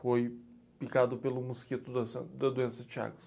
Foi picado pelo mosquito daça, da doença de Chagas.